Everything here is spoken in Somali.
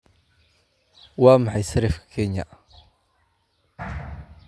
waa maxay sarifka kenya